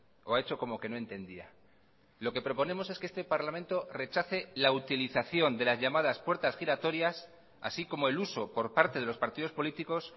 o ha hecho como que no entendía lo que proponemos es que este parlamento rechace la utilización de las llamadas puertas giratorias así como el uso por parte de los partidos políticos